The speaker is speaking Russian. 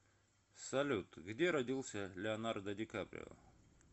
салют где родился леонардо дикаприо